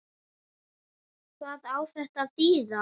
Hvað á þetta að þýða?